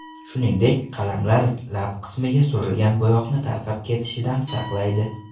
Shuningdek, qalamlar lab qismga surilgan bo‘yoqni tarqab ketishidan saqlaydi.